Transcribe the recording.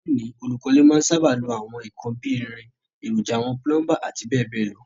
Lóní, olùkọ́lé má n sábà lo àwon nkan bi irin, èròjà àwon plumber àti béèbéè lo